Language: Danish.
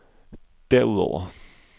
derudover